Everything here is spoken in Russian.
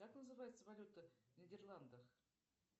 как называется валюта в нидерландах